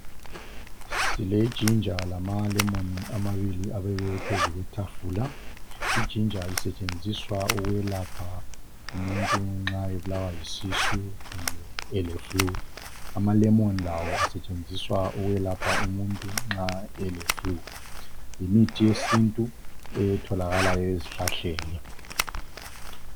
Sile ginger lamalemoni amabili abekwe phezu kwetafula, i ginger isetshenziswa ukuyelapha umuntu nxa ebulawa yisisu kumbe ele flue, ama lemoni lawo asetshenziswa ukwelapha umuntu nxa ele flue. Yimithi yesintu etholakala ezihlahleni.